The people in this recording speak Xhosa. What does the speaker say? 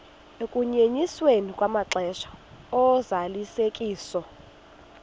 ukunyenyiswa kwamaxesha ozalisekiso